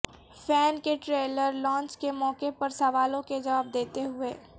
fan کے trailer launch کے موقعے پر سوالوں کے جواب دیتے ہوئے